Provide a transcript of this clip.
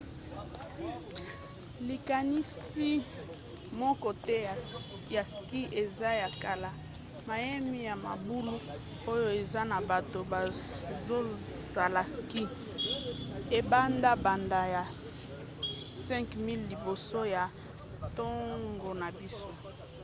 likanisi moko te ya ski eza ya kala — mayemi ya mabulu oyo eza na bato bazosala ski ebanda banda na 5000 liboso ya ntango na biso!